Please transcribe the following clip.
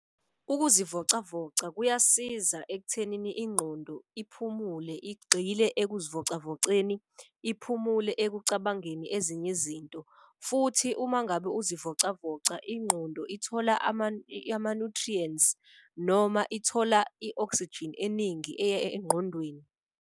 Ukuzivocavoca kuyasiza ekuthenini ingqondo iphumule igxile ukuzivocavoceni, iphumule ekucabangeni ezinye izinto. Futhi uma ngabe uzivocavoca, ingqondo ithola ama-nutrients noma ithola i-oxygen eningi eya engqondweni.